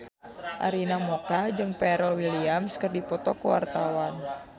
Arina Mocca jeung Pharrell Williams keur dipoto ku wartawan